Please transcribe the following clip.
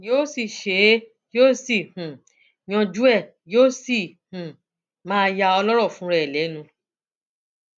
yóò sì ṣe é yóò sì um yanjú ẹ yóò sì um máa ya ọlọrọ fúnra ẹ lẹnu